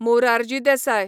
Morarji Desai